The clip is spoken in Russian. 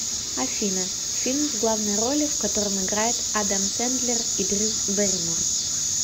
афина фильм в главной роли в котором играет адам сендлер и дрю берримор